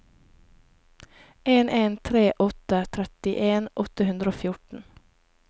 en en tre åtte trettien åtte hundre og fjorten